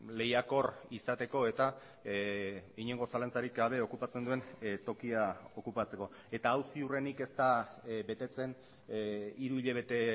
lehiakor izateko eta inongo zalantzarik gabe okupatzen duen tokia okupatzeko eta hau ziurrenik ez da betetzen hiru hilabete